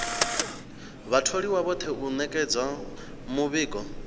vhatholiwa vhoṱhe u ṅetshedza muvhigo